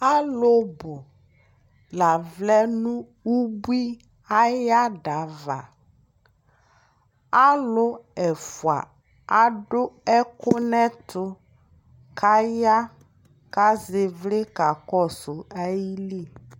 Alʋ bʋ la vlɛ nʋ ubui aya dava Alʋ ɛfua adʋ ɛkʋ n'ɛtʋ k'aya, k'az'ɩvlɩ k'alɔsʋ ayili